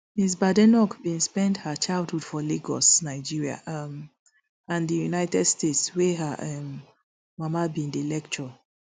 ms badenoch bin spend her childhood for lagos nigeria um and di united states wia her um mama bin dey lecture